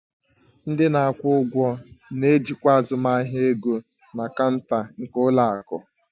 Ndị na-akwụ ụgwọ na-ejikwa azụmahịa ego na kaunta nke ụlọ akụ